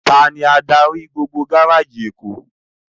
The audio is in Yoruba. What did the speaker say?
Táni ádári gbógbó gáráji Ékó?